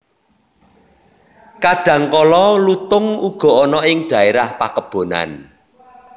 Kadhangkala lutung uga ana ing dhaérah pakebonan